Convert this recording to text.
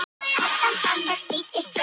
Viðbrögð þeirra eru blendin.